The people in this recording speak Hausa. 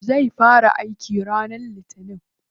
Zai fara aiki ranar litinin.